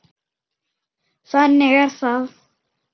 Þannig er það.